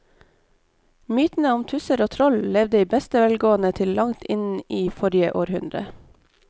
Mytene om tusser og troll levde i beste velgående til langt inn i forrige århundre.